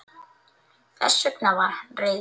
Þess vegna var hann reiður.